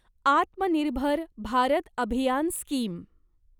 Atmanirbhar Bharat Abhiyan scheme